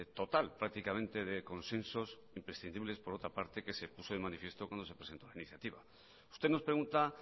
total prácticamente de consensos imprescindibles por otra parte que se puso de manifiesto cuando se presentó la iniciativa usted nos pregunta